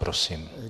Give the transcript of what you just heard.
Prosím.